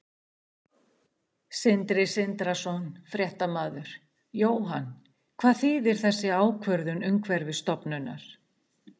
Sindri Sindrason, fréttamaður: Jóhann, hvað þýðir þessi ákvörðun Umhverfisstofnunar?